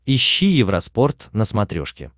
ищи евроспорт на смотрешке